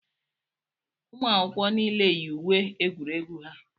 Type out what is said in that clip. ụmụakwụkwọ niile yi uwe egwuregwu ha